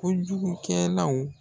Kojugukɛlaw